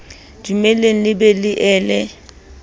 dumelle le be le ele